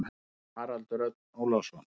Haraldur Örn Ólafsson.